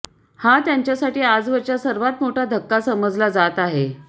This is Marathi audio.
हा त्यांच्यासाठी आजवरचा सर्वात मोठा धक्का समजला जात आहे